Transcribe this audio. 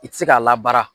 I tɛ se k'a labaara